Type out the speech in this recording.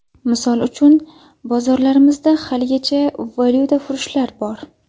Misol uchun, bozorlarimizda haligacha valyutafurushlar bor.